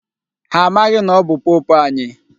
Ha amaghị na ọ bụ pope anyị.